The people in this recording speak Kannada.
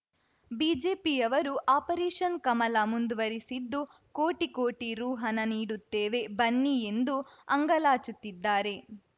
ಬಿಜೆಪಿಯವರು ಆಪರೇಷನ್‌ ಕಮಲ ಮುಂದುವರೆಸಿದ್ದು ಕೋಟಿಕೋಟಿ ರು ಹಣ ನೀಡುತ್ತೇವೆ ಬನ್ನಿ ಎಂದು ಅಂಗಾಲಾಚುತ್ತಿದ್ದಾರೆ